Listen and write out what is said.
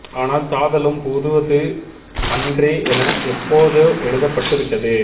ஆனால் சாதலும் புதுவது அன்றே என எப்போதோ எழுதப்பட்டு விட்டது